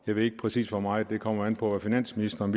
jeg ved ikke præcis hvor meget det kommer an på hvad finansministeren